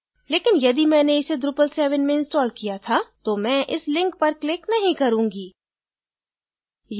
लेकिन यदि मैंने इसे drupal 7 में इंस्टॉल किया था तो मैं इस link पर click नहीं करूँगी